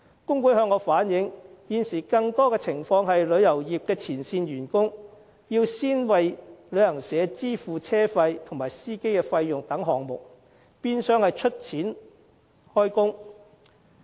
工會向我反映，現時更多情況是，旅遊業前線員工要先為旅行社支付車費及司機費等項目，變相是"出錢開工"。